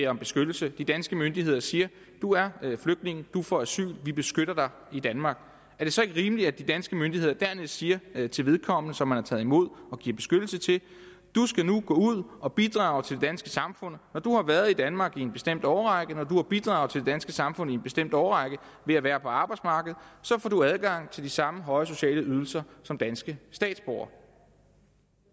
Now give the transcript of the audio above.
om beskyttelse de danske myndigheder siger du er flygtning du får asyl vi beskytter dig i danmark er det så ikke rimeligt at de danske myndigheder dernæst siger til vedkommende som man har taget imod og givet beskyttelse du skal nu gå ud at bidrage til det danske samfund når du har været i danmark i en bestemt årrække når du har bidraget til det danske samfund i en bestemt årrække ved at være på arbejdsmarkedet så får du adgang til de samme høje sociale ydelser som danske statsborgere